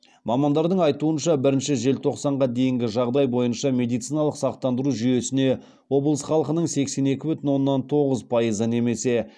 мамандардың айтуынша бірінші желтоқсанға дейінгі жағдай бойынша медициналық сақтандыру жүйесіне облыс халқының сексен екі бүтін оннан тоғыз пайызы немесе